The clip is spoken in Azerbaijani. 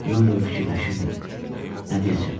Yol boyu fikirləşirdim, nə deyəcəm?